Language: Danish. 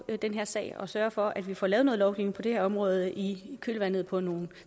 i den her sag og sørger for at vi får lavet noget lovgivning på det her område i kølvandet på nogle